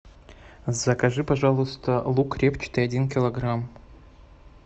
закажи пожалуйста лук репчатый один килограмм